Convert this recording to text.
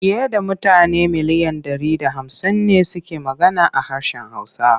Fiye da mutane miliyan ɗari da hamsin ne suke magana ha harshen Hausa.